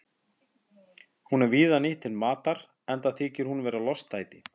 Hún er víða nýtt til matar enda þykir hún vera lostæti.